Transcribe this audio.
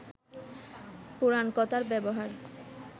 পুরাণকথার ব্যবহার